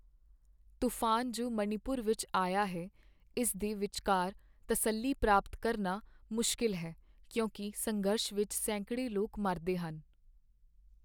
ਤੂਫਾਨ ਜੋ ਮਣੀਪੁਰ ਵਿੱਚ ਆਇਆ ਹੈ ਇਸ ਦੇ ਵਿਚਕਾਰ ਤਸੱਲੀ ਪ੍ਰਾਪਤ ਕਰਨਾ ਮੁਸ਼ਕਿਲ ਹੈ, ਕਿਉਂਕਿ ਸੰਘਰਸ਼ ਵਿੱਚ ਸੈਂਕੜੇ ਲੋਕ ਮਰਦੇ ਹਨ।